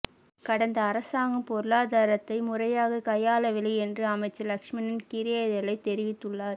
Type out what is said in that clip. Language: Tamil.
கடந்த அரசாங்கம் பொருளாதாரத்தை முறையாக கையாளவில்லை என்று அமைச்சர் லக்ஷ்மன் கிரியெல்லதெரிவித்துள்ளார்